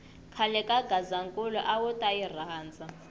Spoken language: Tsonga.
khale ka gazankulu awuta yi rhandza